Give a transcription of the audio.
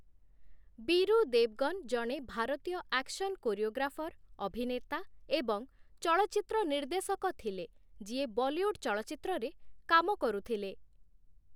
ବୀରୁ ଦେବଗନ ଜଣେ ଭାରତୀୟ action choreographer, ଅଭିନେତା ଏବଂ ଚଳଚ୍ଚିତ୍ର ନିର୍ଦ୍ଦେଶକ ଥିଲେ, ଯିଏ ବଲିଉଡ ଚଳଚ୍ଚିତ୍ରରେ କାମ କରୁଥିଲେ ।